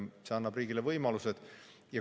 See annab riigile võimalused.